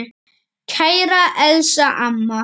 Kæra Elsa amma.